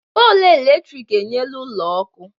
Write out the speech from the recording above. Pọlụ eletrik enyela ụlọ ọkụ.